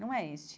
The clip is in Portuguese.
Não é este.